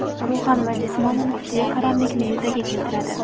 ruhan va jismonan kuchli qaramlikni yuzaga keltiradi.